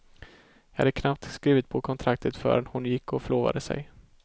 Jag hade knappt skrivit på kontraktet förrän hon gick och förlovade sig.